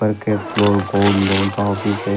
Floor gold loan का office है।